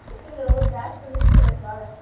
ಬಿಸಿಲು ಬ್ಯಾಸ್ರ್ ಅನ್ನಿಸ್ಬುಡ್ತೇತ್ ಬಾಳ.